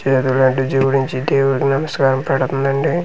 చేతులు అంటించి జోడించి దేవుడికి నమస్కారం పెడుతుందండి చిన్న పి--